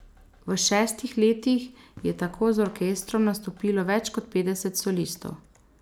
V šestih letih je tako z orkestrom nastopilo več kot petdeset solistov.